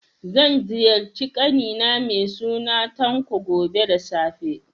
Zan ziyarci ƙani na mai suna Tanko, gobe da safe.